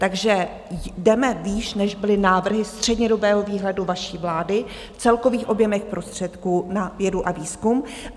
Takže jdeme výš, než byly návrhy střednědobého výhledu vaší vlády v celkových objemech prostředků na vědu a výzkum.